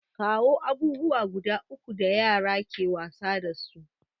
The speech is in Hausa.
Kawo abubuwa guda uku da yara ke wasa dasu?